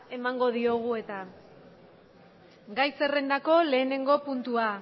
emango diogu gai zerrendako lehenengo puntua